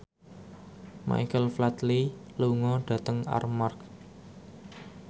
Michael Flatley lunga dhateng Armargh